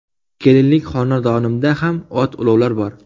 Kelinlik xonadonimda ham ot-ulovlar bor.